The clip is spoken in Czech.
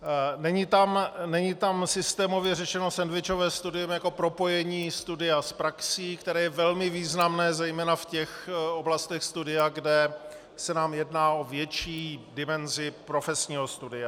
Není tam systémově řešeno sendvičové studium jako propojení studia s praxí, které je velmi významné zejména v těch oblastech studia, kde se nám jedná o větší dimenzi profesního studia.